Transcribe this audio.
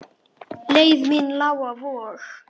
Leið mín lá á Vog.